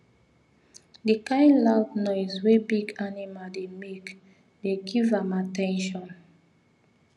the kind loud noise wey big animal dey make dey give am at ten tion